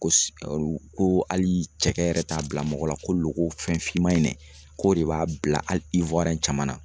Ko ko hali cɛkɛ yɛrɛ t'a bila mɔgɔ la ko loko fɛn finman in dɛ k'o de b'a bila hali caman na